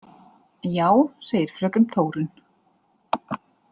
Já, segir fröken Þórunn.